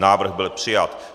Návrh byl přijat.